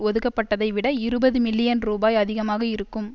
ஒதுக்கப்பட்டதை விட இருபது மில்லியன் ரூபாய் அதிகமாக இருக்கும்